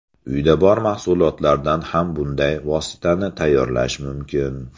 Uyda bor mahsulotlardan ham bunday vositani tayyorlash mumkin.